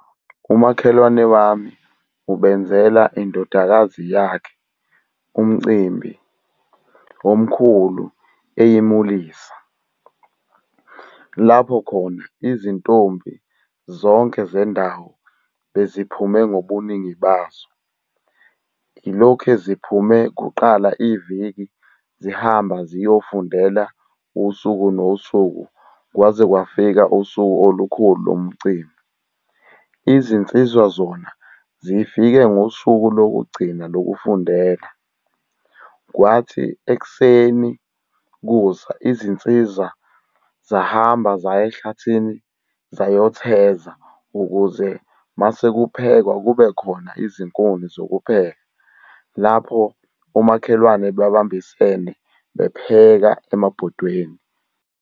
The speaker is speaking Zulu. Umakhelwane wami ubenzela indodakazi yakhe, umcimbi omkhulu eyemulisa. Lapho khona izintombi zonke zendawo beziphume ngobuningi bazo. Ilokhe ziphume kuqala iviki zihamba ziyofundela usuku nosuku, kwaze kwafika usuku olukhulu lomcimbi. Izinsizwa zona zifike ngosuku lokugcina lokufundela. Kwathi ekuseni kusa izinsizwa zahamba zaya ehlathini zayotheza ukuze mase kuphekwa kube khona izinkunzi zokupheka, lapho omakhelwane babambisene bepheka emabhodweni.